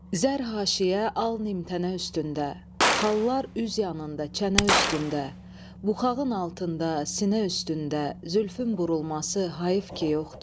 Zər haşiyə, al nimtənə üstündə, xallar üz yanında, çənə üstündə, buxağın altında, sinə üstündə zülfün burulması hayıf ki yoxdur.